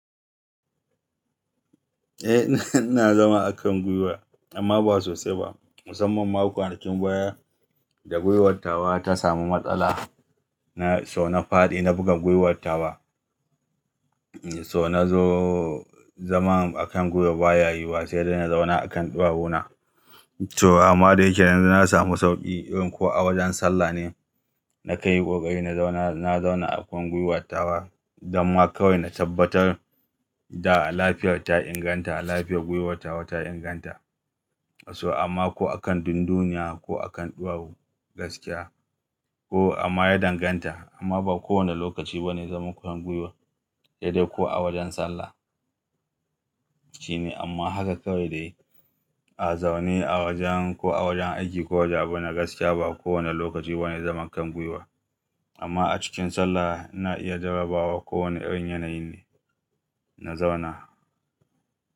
Eh, ina zama a kan gwiwa amma ba sosai ba. Musamman ma kwanakin baya da gwiwartawa ta samu matsala, so na faɗi na buga gwiwartawa. So na zo zaman akan gwiwa ba ya yiwuwa sai dai na zauna akan ɗuwawuna. To amma dai yake yanzu na samu sauƙi ko a wajen sallah ne na kanyi ƙoƙari na zauna, na zauna akan gwiwartawa, dan ma kawai na tabbatar da lafiyar ta inganta, lafiyar gwiwartawa ta inganta. So amma ko akan dunduniya ko akan ɗawu gaskiya ko amma ya danganta amma ba kowane lokaci ba ne zama kan gwiwa sai dai ko a wajen sallah. Shine amma haka kawai dai a zaune a wajen ko a wajen aiki ko wajaba na gaskiya ba kowane lokaci ba ne zaman kan gwiwa. Amma a cikin sallah na iya jarrabawa kowane irin yanayi ne, na zauna.